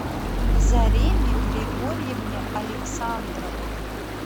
зареме григорьевне александровой